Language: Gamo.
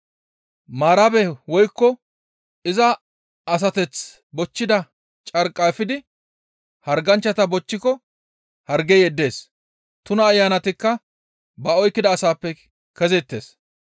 Maarabe woykko iza asateth bochchida carqqa efidi harganchchata bochchiko hargey yeddees; tuna ayanatikka ba oykkida asappe kezeettes.